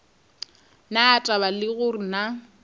na taba le gore na